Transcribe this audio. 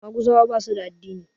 Maguzawa ba su da addini